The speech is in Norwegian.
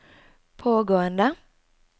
pågående